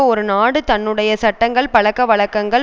ஒரு நாடு தன்னுடைய சட்டங்கள் பழக்க வழக்கங்கள்